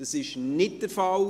– Dies ist nicht der Fall.